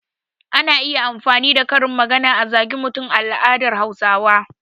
Ana iya amfani da karin magana a zage mutum a al'adar Hausawa.